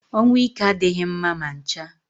Ọnwụ ike adịghị mma ma ncha